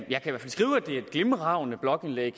lave